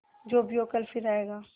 जो भी हो कल फिर आएगा